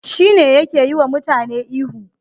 Shine yake yiwa mutane ihu